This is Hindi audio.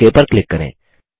ओक पर क्लिक करें